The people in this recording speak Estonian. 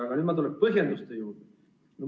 Aga nüüd ma tulen põhjenduste juurde.